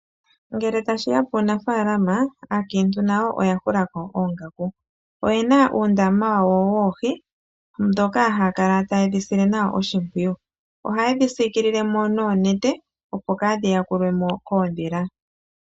Ngele tashiya puunafalaama aakiintu na yo oya hula ko oongaku, oye na uundaama wa wo woohi, ndhoka ha ya kala ta ye dhi sile nawa oshimpwiyu, ohaye dhi siikilile mo noonete opo kaadhi yakulwe mo koondhila.